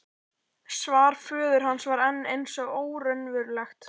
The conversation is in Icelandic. Svar föður hans var enn eins og óraunverulegt.